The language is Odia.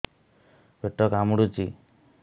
ପେଟ କାମୁଡୁଛି